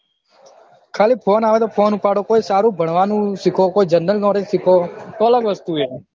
ખાલી phone આવે તો phone ઉપાડો કોઈ સારું ભણવાનું સીખો કોઈ general knowledge સીખો તો અલગ વસ્તુ હે